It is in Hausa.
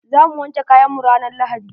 Za mu wanke kayan mu ranan lahadi.